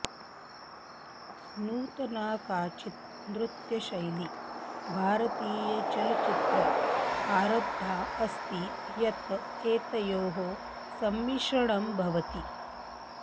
नूतना काचित् नृत्यशैली भारतीयचलच्चित्रे आरब्धा अस्ति यत् एतयोः सम्मिश्रणं भवति